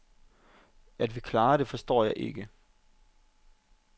At vi klarede det, forstår jeg ikke.